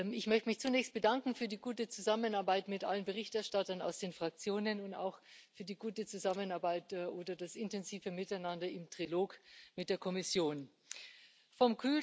Ich möchte mich zunächst für die gute Zusammenarbeit mit allen Berichterstattern aus den Fraktionen und auch für die gute Zusammenarbeit oder das intensive Miteinander im Trilog mit der Kommission bedanken.